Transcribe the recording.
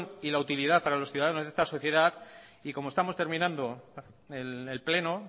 y la utilidad para los ciudadanos de esta sociedad y como estamos terminando el pleno